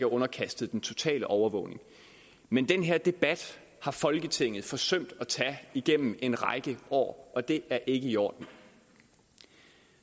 underkastet den totale overvågning men den her debat har folketinget forsømt at tage igennem en række år og det er ikke i orden